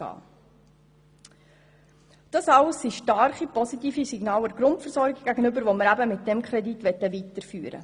Das alles sind starke positive Signale gegenüber der Grundversorgung, die wir mit diesem Kredit fördern möchten.